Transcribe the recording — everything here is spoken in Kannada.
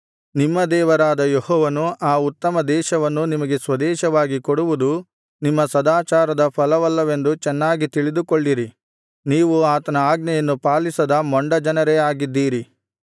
ನಿಮ್ಮ ದೇವರಾದ ಯೆಹೋವನು ಆ ಉತ್ತಮ ದೇಶವನ್ನು ನಿಮಗೆ ಸ್ವದೇಶವಾಗಿ ಕೊಡುವುದು ನಿಮ್ಮ ಸದಾಚಾರದ ಫಲವಲ್ಲವೆಂದು ಚೆನ್ನಾಗಿ ತಿಳಿದುಕೊಳ್ಳಿರಿ ನೀವು ಆತನ ಆಜ್ಞೆಯನ್ನು ಪಾಲಿಸದ ಮೊಂಡ ಜನರೇ ಆಗಿದ್ದೀರಿ